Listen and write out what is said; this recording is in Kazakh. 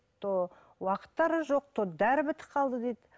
то уақыттары жоқ то дәрі бітіп қалды дейді